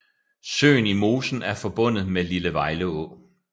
Søen i mosen er forbundet med Lille Vejleå